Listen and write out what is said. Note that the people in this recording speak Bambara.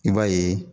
I b'a ye